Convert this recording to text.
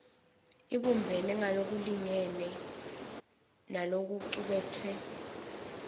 ibumbene ngalokulingene nalokucuketfwe